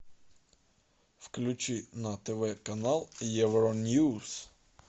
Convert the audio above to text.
включи на тв канал евроньюз